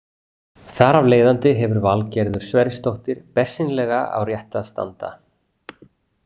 Þar af leiðandi hefur Valgerður Sverrisdóttir bersýnilega á réttu að standa.